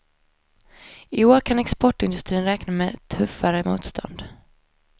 I år kan exportindustrin räkna med tuffare motstånd.